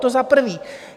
To za prvé.